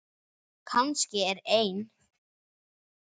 Kannski er ein